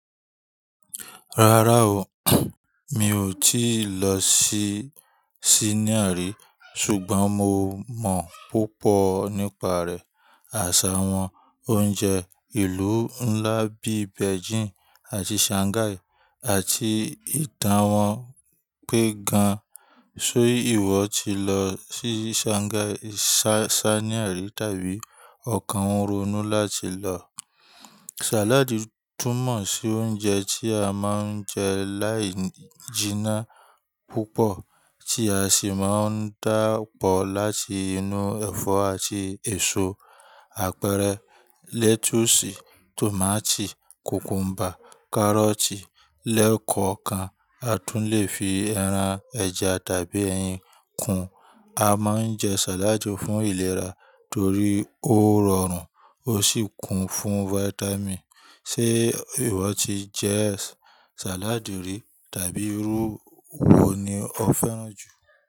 Rárá o, mi ò tíì lọ sí Siníà rí, ṣùgbọ́n mo mọ̀ púpọ̀ nípa rẹ̀, àṣà wọn, oúnjẹ, ìlú ńlá bí i Beijing àti Shanghai, àti ìtàn wọn pé gan. Ṣé ìwọ ti lọ sí Shanghai, Siníà rí tàbí ọkàn ronú láti lọ? Sàládì tún mọ̀ sí oúnjẹ tí a máa ń jẹ láì jíná púpọ̀, tí a sì máa ń dà pọ̀ láti inú ẹ̀fọ́ àti èso, àpẹẹrẹ, lẹ́túùsì, tòmátì, kùkúḿbà, kárọ́tì, lẹ́kọ̀ọ̀kan. A tún lè fi ẹran, ẹja tàbí ẹyin kún. A máa ń jẹ sàládì fún ìlera torí ó rọrùn ó sì kún fún fáyítámì̀nì. Ṣé ìwọ ti jẹ sàládì rí tàbí irú ewo ni o fẹ́ràn jù?